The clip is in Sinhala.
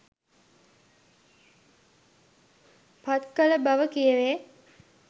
පත් කළ බව කියැවේ.